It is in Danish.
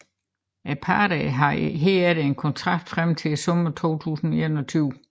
Parterne havde herefter en kontrakt frem til sommeren 2021